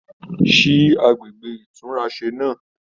Sí àgbègbè ìtúnrasè náà?